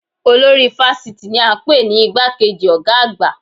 Olórí fásitì ni a npè ní igbá kejì ọ̀gá àgbà